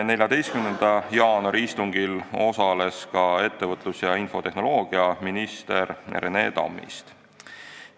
14. jaanuari istungil osales ka ettevõtlus- ja infotehnoloogiaminister Rene Tammist.